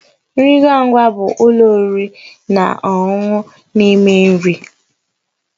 Nri ngwa ngwa bụ ụlọ oriri na ọṅụṅụ na- eme nri